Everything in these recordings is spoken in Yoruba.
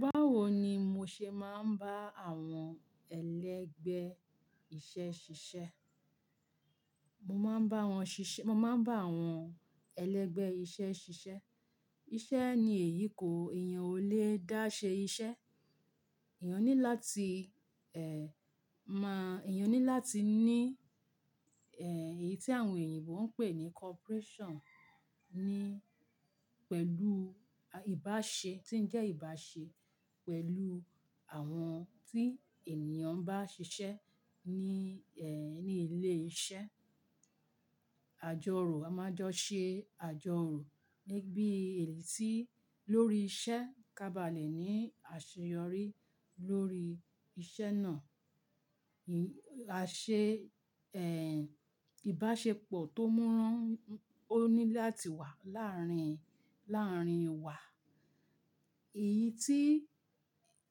Báwo ni mo ṣe máa ń bá àwọn ẹlẹ́gbẹ́ iṣẹ́ ṣiṣẹ́? Mo máa ń bá wọn ṣiṣẹ́, mo máa ń bá àwọn ẹlẹ́gbẹ́ iṣẹ́ ṣiṣẹ́. Iṣẹ́ ni èyí kó, èèyàn ò lè dá ṣe iṣẹ́. Eèyàn ní láti, ẹ́, mọ, èèyàn ní láti ní, ẹ́, èyí tí àwọn èyìǹbo ń pè ní corporation, ní pẹ̀lú ìbáṣe tí ń jẹ́ ìbáṣe pẹ̀lú àwọn tí ènìyàn n bá ṣiṣẹ́ ní, ẹ́, ní ilé iṣẹ́. Àjọ rò, a máa ń jọ ṣe àjọ rò níbí èyí tí lórí iṣẹ́ ká bá le ní àṣeyọrí lórí iṣẹ́ náà. À ṣe, ẹ́, ìbáṣepọ̀ tó múrán ó ní láti wà láárín, láàrín wa. Èyí tí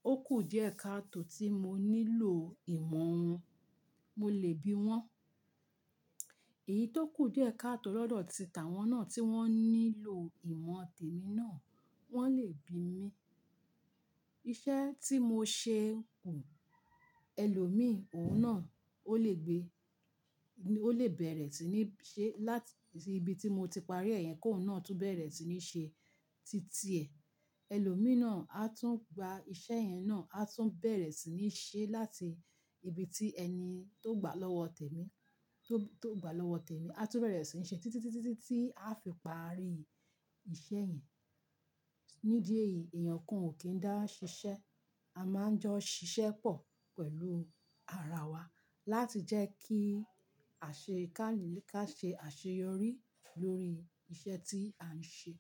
ó kù díẹ̀ ká tó tí mo nílò ìmọ̀ wọn, mo lè bí wọ́n. Èyí tó kù díẹ̀ ká tó lọ́dọ̀ ti tàwọn náà tí wọ́n nílò ìmọ̀ tèmi náà, wọ́n lè bí mi. Iṣẹ́ tí mo ṣe kù ẹlòmíì, òhun náà ó lè gbé, ó lè bẹ̀rẹ̀ sí ní ṣe láti ibi tí mo ti parí ẹ̀ yẹn kó òhun náà tún bẹ̀rẹ̀ sí ní ṣe títí ẹ̀. Ẹlòmíì náà a tún gba iṣẹ́ yẹn náà, a tún bẹ̀rẹ̀ sí ní ṣe láti ibi tí ẹni tó gbà lọ́wọ́ tèmi, tó, tó gbà lọ́wọ́ tèmi, a tún bẹ̀rẹ̀ sí n ṣe títí, títí, títí tí a fi parí iṣẹ́ yẹn. Nídí ẹ́yìí, èèyàn kan ò kí ń dá ṣiṣẹ́. A máa ń jọ ṣiṣẹ́ pọ̀ pẹ̀lú ara wa láti jẹ́ kí àṣekáà ká ṣe àṣeyọrí lórí iṣẹ́ tí à ń ṣe.